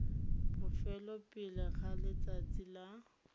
bofelo pele ga letsatsi la